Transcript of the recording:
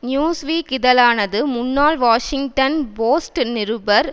news week இதழானது முன்னாள் Washington Post நிருபர்